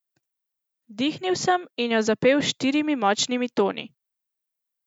Vdihnil sem in jo zapel s štirimi močnimi toni.